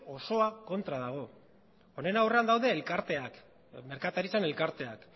osoa kontra dagoela honen aurrean daude elkarteak merkataritzan elkarteak